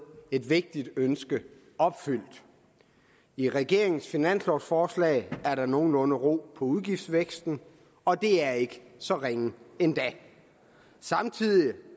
et vigtigt ønske opfyldt i regeringens finanslovforslag er der nogenlunde ro på udgiftsvæksten og det er ikke så ringe endda samtidig